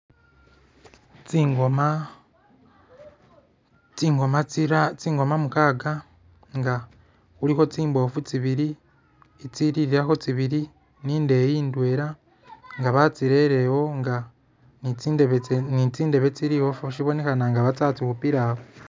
Tsingoma mukaga nga khulikho tsimboofu tsibili, tsitsililakho tsibili, ni indeeyi ndweela nga batsirerewo nga ni tsindebe tse ni tsindebe tsili musyifo babonekhena nga batsa khutsikhupila awo.